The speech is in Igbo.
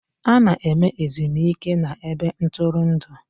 A na-eme ezumike na ebe ntụrụndụ